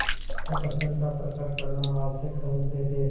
अप्रसन्नता प्रकट करना आवश्यक समझते थे